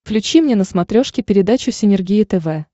включи мне на смотрешке передачу синергия тв